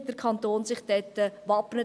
Wie wappnet sich dort der Kanton?